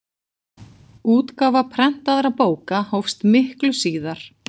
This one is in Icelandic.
útgáfa prentaðra bóka hófst miklu síðar